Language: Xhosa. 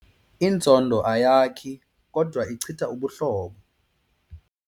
Inzondo ayakhi kodwa ichitha ubuhlobo.